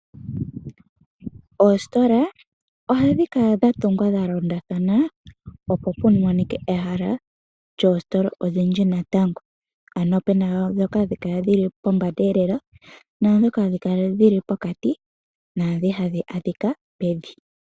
Oositola ohadhi kala dha tungwa dha londathana, opo pu monikwe ehala lyoositola odhindji natango ano opena dhoka hadhi kala poombanda lela, naadhoka hadhi kala dhili pokati, naadhi hadhi adhika pevi.